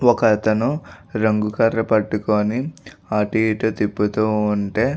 ఒకతను రంగు కర్ర పట్టుకుని అటు ఇటు తిప్పుతు ఉంటే --